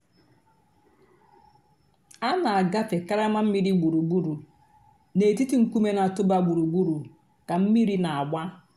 a nà-àgàfé karama mmìrì gbùrùgbùrù nètìtì ńkùmé̀ nà-̀tụ̀bà gbùrùgbùrù kà mmìrì nà-àgbà.